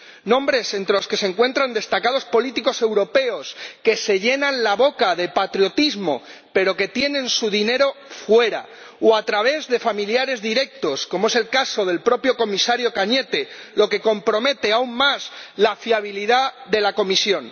Nombres entre los que se encuentran destacados políticos europeos, que se llenan la boca de patriotismo, pero que tienen su dinero fuera o lo sacan a través de familiares directos, como es el caso del propio Comisario Cañete, lo que compromete aún más la fiabilidad de la Comisión.